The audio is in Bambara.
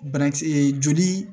Banakisɛ joli